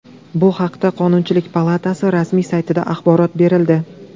Bu haqda Qonunchilik palatasi rasmiy saytida axborot berildi .